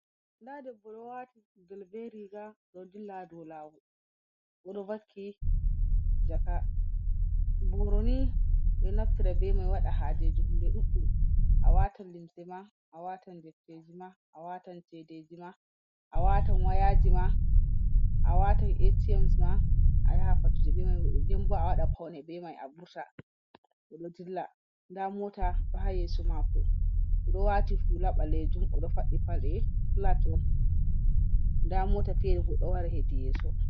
Nada debbo ɗon wati gudel be riga oɗo dilla ha dou lawol, oɗo vakki jaka. Borini ɓe ɗo naftira be mai waɗa hajeji hunde ɗudɗum, awatan limsima, awatan deftejima awatan cedejima, awatan wayajima, awatan ATM's ma, ayaha fattude be mai nden awaɗa paune be mai avur.ta Oɗo dilla nda Mota ɗo ha yeso mako oɗo wati hula ɓalejum oɗo fadɗi Paɗee Fulat'on, nada Mota fere ɗou wara ha yeso.